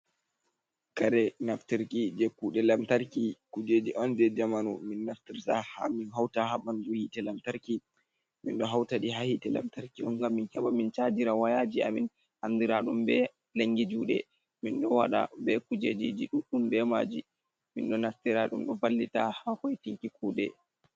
Kare naftarki je kude lamtarki, kujeji on je jamanu min naftirta ha min hauta ha ɓandu hite lamtarki, min ɗo hautaɗi ha hite lamtarki on gam min heba min chajira wayaji a min andira ɗum be langi juɗe, minɗo waɗa be kujeji ji ɗuɗɗum be maji, min ɗo naftira ɗum ɗo vallita ha hoitinki kuɗe.